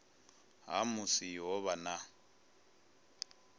ha musi ho vha na